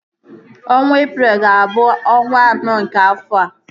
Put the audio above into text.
Ọnwa Eprel ga abụ ọnwa anọ nke afọa